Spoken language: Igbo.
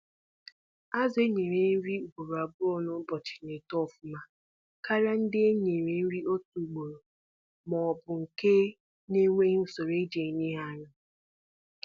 Azu e nyere nri ugboro abụọ na-ụbọchi na eto ọfụma karịa ndị e nyere nri otu ugboro ma ọ bụ nke na-enweghị usoro eji enye ha nri